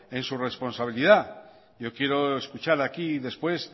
en su responsabilidad yo quiero escuchar aquí después